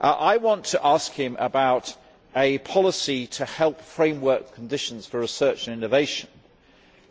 I want to ask him about a policy to help framework conditions for research and innovation